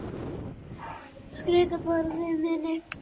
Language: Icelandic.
Sterki bróðir minn.